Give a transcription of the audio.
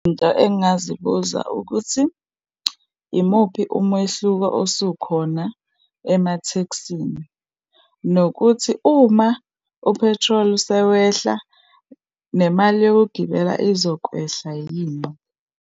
Into engingazibuza, ukuthi yimuphi umehluko osukhona emathekisini, nokuthi uma u-petrol sewehla, nemali yokugibela izokwehla yini.